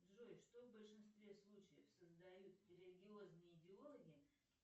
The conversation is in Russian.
джой что в большинстве случаев создают религиозные идеологи